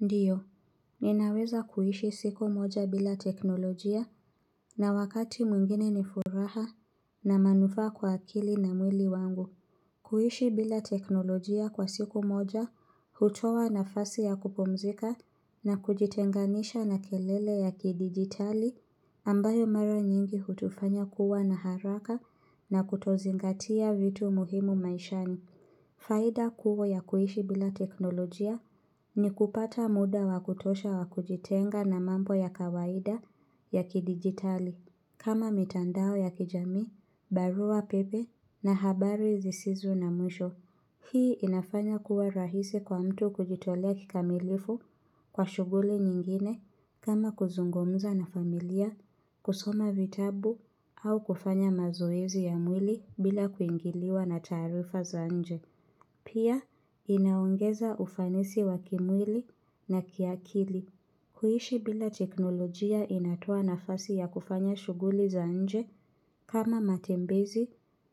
Ndiyo, ninaweza kuishi siku moja bila teknolojia na wakati mwingine ni furaha na manufaa kwa akili na mwili wangu. Kuishi bila teknolojia kwa siku moja, hutoa nafasi ya kupumzika na kujitenganisha na kelele ya kidigitali ambayo mara nyingi hutufanya kuwa na haraka na kutozingatia vitu muhimu maishani. Faida kubwa ya kuishi bila teknolojia ni kupata muda wa kutosha wakujitenga na mambo ya kawaida ya kidigitali. Kama mitandao ya kijamii, barua pepe na habari zisizo na mwisho. Hii inafanya kuwa rahisi kwa mtu kujitolea kikamilifu kwa shughuli nyingine kama kuzungumza na familia, kusoma vitabu au kufanya mazoezi ya mwili bila kuingiliwa na taarifa za nje. Pia, inaongeza ufanisi wa kimwili na kiakili. Kuishi bila teknolojia inatoa nafasi ya kufanya shughuli za nje kama matembezi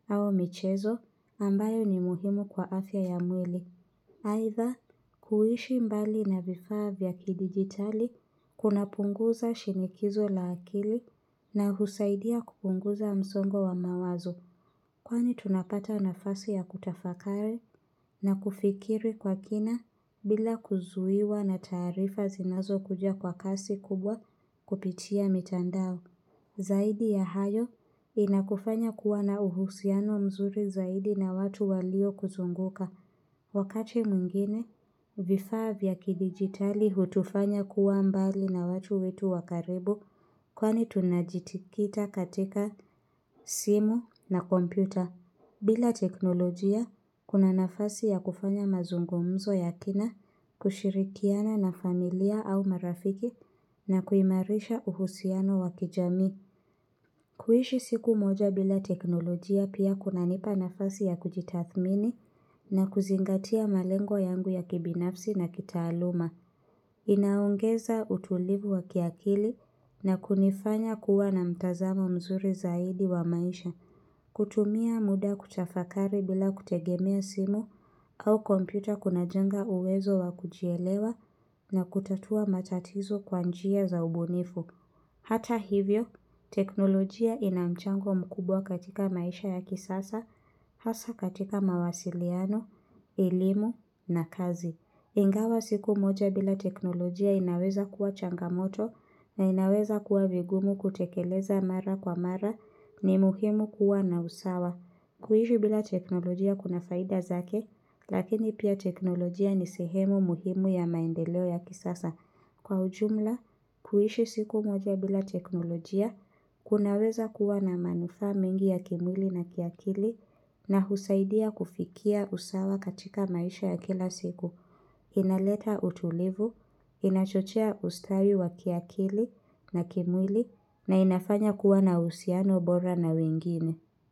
au michezo ambayo ni muhimu kwa afya ya mwili. Aidha, kuishi mbali na vifaa vya kidigitali kunapunguza shinikizo la akili na husaidia kupunguza msongo wa mawazo. Kwani tunapata nafasi ya kutafakari na kufikiri kwa kina bila kuzuiwa na taarifa zinazokuja kwa kasi kubwa kupitia mitandao. Zaidi ya hayo inakufanya kuwa na uhusiano mzuri zaidi na watu waliokuzunguka. Wakati mwingine, vifaa vya kidigitali hutufanya kuwa mbali na watu wetu wa karibu kwani tunajitikita katika simu na kompyuta. Bila teknolojia, kuna nafasi ya kufanya mazungumzo ya kina, kushirikiana na familia au marafiki na kuimarisha uhusiano wa kijamii. Kuishi siku moja bila teknolojia pia kunanipa nafasi ya kujitathmini na kuzingatia malengo yangu ya kibinafsi na kitaaluma. Inaongeza utulivu wa kiakili na kunifanya kuwa na mtazamo mzuri zaidi wa maisha. Kutumia muda kutafakari bila kutegemea simu au kompyuta kunajenga uwezo wa kujielewa na kutatua matatizo kwa njia za ubunifu. Hata hivyo, teknolojia ina mchango mkubwa katika maisha ya kisasa, hasa katika mawasiliano, elimu na kazi. Ingawa siku moja bila teknolojia inaweza kuwa changamoto na inaweza kuwa vigumu kutekeleza mara kwa mara ni muhimu kuwa na usawa. Kuishi bila teknolojia kuna faida zake, lakini pia teknolojia ni sehemu muhimu ya maendeleo ya kisasa. Kwa ujumla, kuishi siku moja bila teknolojia kunaweza kuwa na manufaa mengi ya kimwili na kiakili na husaidia kufikia usawa katika maisha ya kila siku. Inaleta utulivu, inachochea ustawi wa kiakili na kimwili na inafanya kuwa na uhusiano bora na wengine.